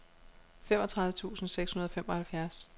femogtredive tusind seks hundrede og femoghalvfjerds